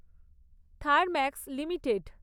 Thermax limited